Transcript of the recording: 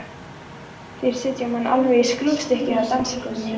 Þeir setja mann alveg í skrúfstykki á dansgólfinu.